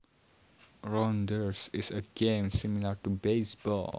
Rounders is a game similar to baseball